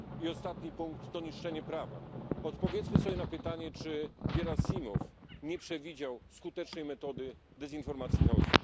I ostatni punkt strategii to niszczenie prawa. Odpowiedzmy sobie na pytanie, czy Gierasimow nie przewidział skutecznej metody dezinformacji i chaosu.